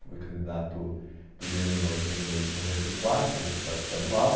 Fui candidato primeiro em oitenta e, noventa e quatro, deputado estadual.